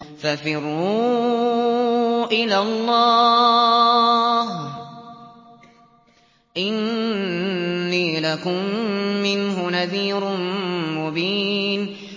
فَفِرُّوا إِلَى اللَّهِ ۖ إِنِّي لَكُم مِّنْهُ نَذِيرٌ مُّبِينٌ